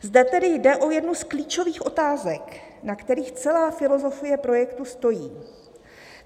"Zde tedy jde o jednu z klíčových otázek, na kterých celá filozofie projektu stojí.